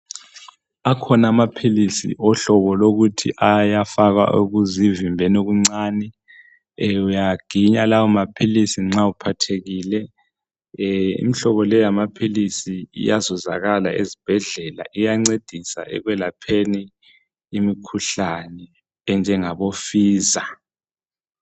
Akhona amaphilisi ohlobo lokuthi ayafakwa okuzivimbeni okuncani ee uyawaginya lawo maphilisi nxa uphathekile ee imhlobo leyamaphilisi iyazuzakala ezibhedlela iyancedisa ekwelapheni imikhuhlane enjengabo fiza